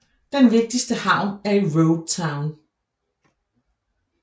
Den vigtigste havn er i Road Town